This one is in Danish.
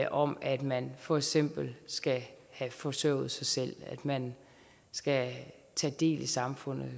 om at man for eksempel skal have forsørget sig selv at man skal tage del i samfundet